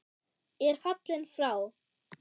er fallinn frá.